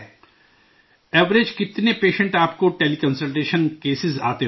اوسطاً کتنے پیشنٹ آپ کو ٹیلی کنسلٹیشن کیس آتے ہوں گے؟